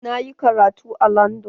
Na yi karatu a landan.